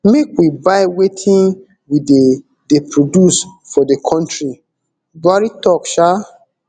make we buy wetin we dey dey produce for di kontri buhari tok um